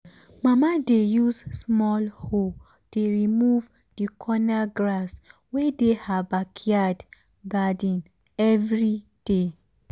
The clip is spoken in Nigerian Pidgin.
mama dey use small hoe dey remove the corner grass wey dey her backyard garden every day.